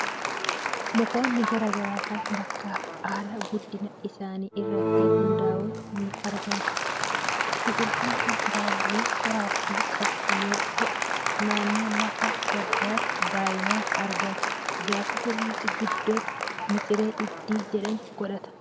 Mukoonni garaa garaa kan bakkaa fi haala guddina isaanii irratti hundaa'an ni argamu. Biqiltuun kan baala qoraatti qabu yoo ta'u, naannoo lafa baddaatti baay'inaan argama. Gaafa sirriitti guddatu miciree hiddii jedhamu godhata.